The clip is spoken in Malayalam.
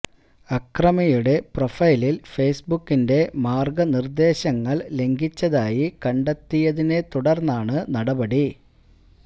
അക്രമിയുടെ പ്രൊഫൈലിൽ ഫെയ്സ് ബുക്കിന്റെ മാർഗനിർദേശങ്ങൾ ലംഘിച്ചതായി കണ്ടെത്തിയതിനെ തുടർന്നാണ് നടപടി